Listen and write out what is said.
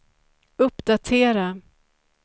uppdatera